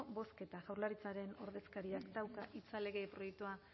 bozketa jaurlaritzaren ordezkariak dauka hitza lege proiektua